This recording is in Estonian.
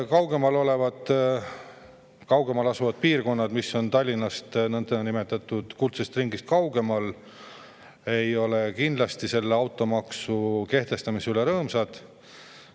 Kaugemal asuvad piirkonnad, mis on Tallinnast ja nõndanimetatud kuldsest ringist kaugemal, ei ole kindlasti selle automaksu kehtestamise üle rõõmsad.